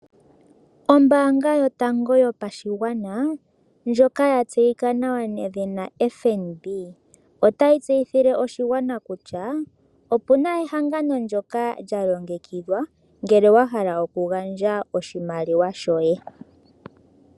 Ombanga yotango yopashigwana ndjoka ya tseyika nawa nedhina FNB, otayi tseyithile oshigwana kutya opu na ehangano ndyoka lyalongekidhwa ngele wa hala okugandja oshimaliwa shoye.